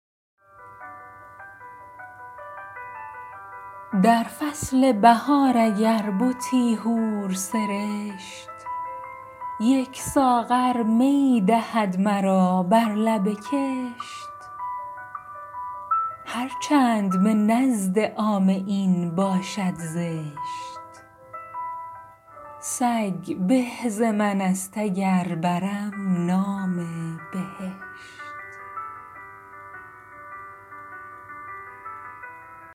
در فصل بهار اگر بتی حور سرشت یک ساغر می دهد مرا بر لب کشت هر چند به نزد عامه این باشد زشت سگ به ز من است اگر برم نام بهشت